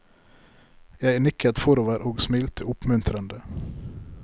Jeg nikket forover og smilte oppmuntrende.